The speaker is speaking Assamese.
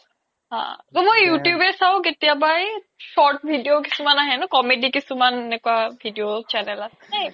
মই you tube য়ে চাও কেতিয়াবা short video কিছুমান আহে ন comedy কিছুমান এনেকুৱা video